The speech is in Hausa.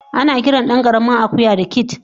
Anakiran dankaramin akuya da "kid"